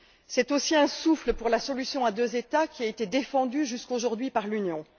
C'est aussi un souffle pour la solution à deux États qui a été défendue jusqu'à aujourd'hui par l'Union.